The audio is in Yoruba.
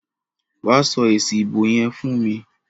Wa sọ èsì ìbò yẹn fún mi.